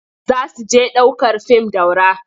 Za su je ɗ aukar fim Daura.